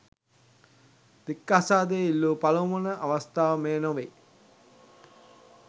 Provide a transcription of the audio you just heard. දික්කසාදය ඉල්ලු පලමුවන අවස්ථාව මෙය නොවේ.